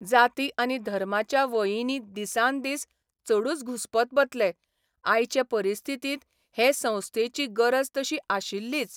जाती आनी धर्माच्या वयींनी दिसान दीस चडूच घुस्पत बतले आयचे परिस्थितींत हे संस्थेची गरज तशी आशिल्लीच.